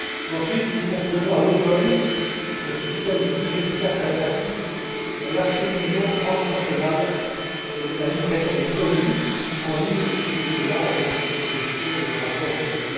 Ensuite, nous proposerons à l'automne un système plus efficace et attractif pour l'acheminement transnational et la livraison des colis en ligne, toujours en lien avec les propositions et le rapport de